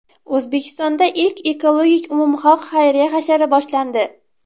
O‘zbekistonda ilk ekologik umumxalq xayriya hashari boshlandi.